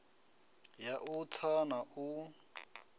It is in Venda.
ya u tsa na u